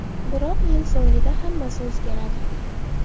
Biroq yil so‘ngida hammasi o‘zgaradi.